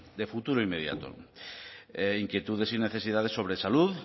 de futuro inmediato inquietudes y necesidades sobre salud